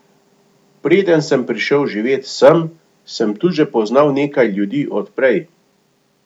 Preden sem prišel živet sem, sem tu že poznal nekaj ljudi od prej.